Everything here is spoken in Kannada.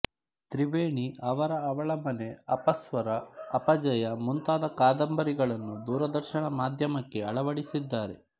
ತ್ರಿವೇಣಿ ಅವರ ಅವಳ ಮನೆ ಅಪಸ್ವರ ಅಪಜಯ ಮುಂತಾದ ಕಾದಂಬರಿಗಳನ್ನು ದೂರದರ್ಶನ ಮಾಧ್ಯಮಕ್ಕೆ ಅಳವಡಿಸಿದ್ದಾರೆ